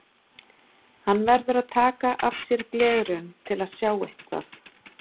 Hann verður að taka af sér gleraugun til að sjá eitthvað.